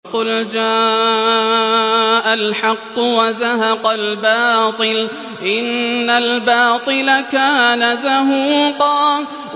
وَقُلْ جَاءَ الْحَقُّ وَزَهَقَ الْبَاطِلُ ۚ إِنَّ الْبَاطِلَ كَانَ زَهُوقًا